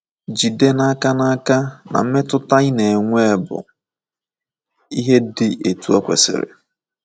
JIDE n’aka n’aka na mmetụta ị na - enwe bụ ihe dị etu o kwesịrị.